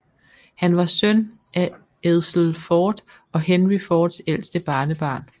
Han var søn af Edsel Ford og Henry Fords ældste barnebarn